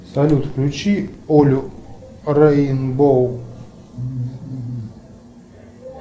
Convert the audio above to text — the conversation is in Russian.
салют включи олю рейнбоу